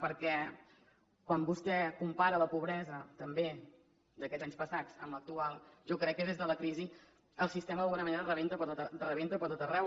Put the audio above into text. perquè quan vostè compara la pobresa també d’aquests anys passats amb l’actual jo crec que des de la crisi el sistema d’alguna manera rebenta per tot arreu